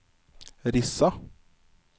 Rissa